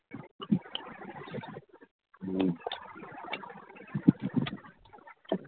ক